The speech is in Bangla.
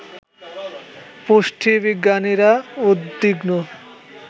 পুষ্টিবিজ্ঞানীরা উদ্বিগ্ন